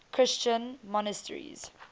christian monasteries